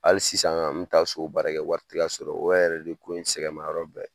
Hali sisan ŋ'an me taa so baarakɛwari te ka sɔrɔ, o yɛrɛ de ko in sɛgɛnma yɔrɔ bɛɛ.